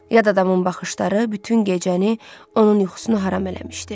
Yad adamın baxışları bütün gecəni onun yuxusunu haram eləmişdi.